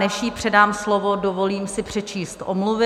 Než jí předám slovo, dovolím si přečíst omluvy.